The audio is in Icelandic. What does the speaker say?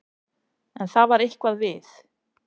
En það var eitthvað við